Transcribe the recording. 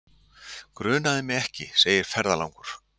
Grunaði mig ekki, segir ferðalangur.